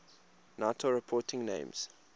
nato reporting names